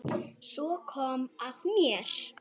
Svo kom að mér.